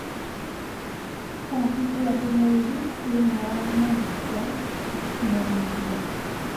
cabithia ndũmĩrĩri thĩinĩ wa nenda cia ũkĩnyaniria